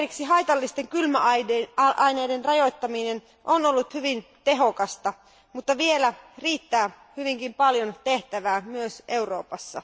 Haitallisten kylmäaineiden rajoittaminen on ollut hyvin tehokasta, mutta vielä riittää hyvinkin paljon tehtävää myös Euroopassa.